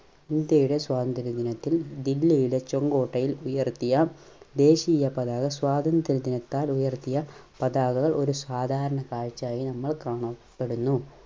ഇന്ത്യയുടെ സ്വാതന്ത്ര്യ ദിനത്തിൽ ദില്ലിയിലെ ചെങ്കോട്ടയിൽ ഉയർത്തിയ ദേശീയ പതാക സ്വാതന്ത്ര്യ ദിനത്താൽ ഉയർത്തിയ പതാകകൾ ഒരു സാധാരണ കാഴ്ചയായി നമ്മൾ കാണപ്പെടുന്നു.